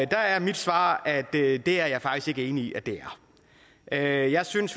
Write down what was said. der er mit svar at det er det er jeg faktisk ikke enig i at det er jeg synes